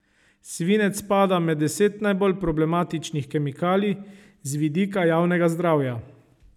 Svinec spada med deset najbolj problematičnih kemikalij z vidika javnega zdravja.